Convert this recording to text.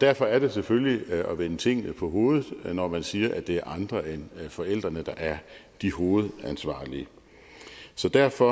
derfor er det selvfølgelig at vende tingene på hovedet når man siger at det er andre end forældrene der er de hovedansvarlige derfor